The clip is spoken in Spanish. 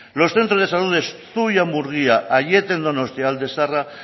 los centros de salud de zuia murgia aiete en donostia alde zaharra